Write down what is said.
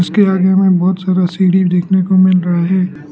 इसके आगे में बहोत सारा सीढ़ी देखने को मिल रहा है।